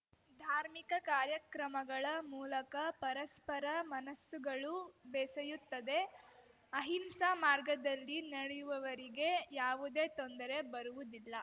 ಧಾರ್ಮಿಕ ಕಾರ್ಯಕ್ರಮಗಳ ಮೂಲಕ ಪರಸ್ಪರ ಮನಸ್ಸುಗಳು ಬೆಸೆಯುತ್ತದೆ ಅಹಿಂಸಾ ಮಾರ್ಗದಲ್ಲಿ ನಡೆಯುವವರಿಗೆ ಯಾವುದೆ ತೊಂದರೆ ಬರುವುದಿಲ್ಲ